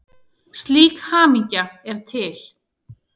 Slík hamingja er til.